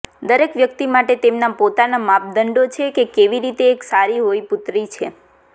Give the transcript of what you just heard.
દરેક વ્યક્તિ માટે તેમના પોતાના માપદંડો છે કે કેવી રીતે એક સારી હોઈ પુત્રી છે